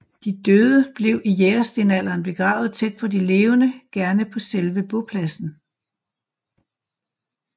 De døde blev i jægerstenalderen begravet tæt på de levende gerne på selve bopladsen